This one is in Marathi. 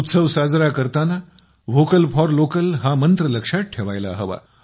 उत्सव साजरा करताना व्होकल फॉर लोकल हा मंत्र लक्षात ठेवायला हवा